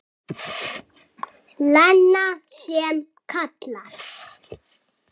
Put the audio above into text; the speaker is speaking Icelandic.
Lena sem kallar.